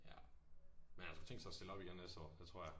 Ja. Men han har sgu tænkt sig at stille op igen næste år. Det tror jeg